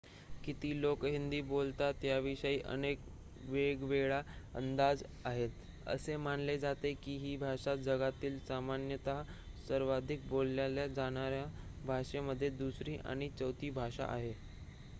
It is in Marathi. किती लोक हिंदी बोलतात याविषयी अनेक वेगवेगळे अंदाज आहेत असे मानले जाते की ही भाषा जगातील सामान्यतः सर्वाधिक बोलल्या जाणाऱ्या भाषेमध्ये दुसरी आणि चौथी भाषा आहे